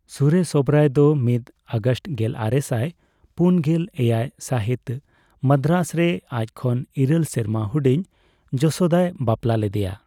ᱥᱩᱨᱮᱥ ᱳᱵᱮᱨᱟᱭ ᱫᱚ ᱢᱤᱫ ᱟᱜᱚᱥᱴ ᱜᱮᱞᱟᱨᱮᱥᱟᱭ ᱯᱩᱱ ᱜᱮᱞ ᱮᱭᱟᱭ ᱥᱟᱦᱤᱛ ᱢᱟᱫᱽᱫᱨᱟᱥ ᱨᱮ ᱟᱡ ᱠᱷᱚᱱ ᱤᱨᱟᱹᱞ ᱥᱮᱨᱢᱟ ᱦᱩᱰᱤᱧ ᱡᱚᱥᱳᱫᱟᱭ ᱵᱟᱯᱞᱟ ᱞᱮᱫᱮᱭᱟ ᱾